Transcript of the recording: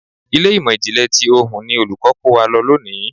Ilé ìmò ìjìnlẹ̀ ti ohùn ni Olùkọ́ni kó wa lọ lónìí.